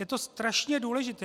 Je to strašně důležité.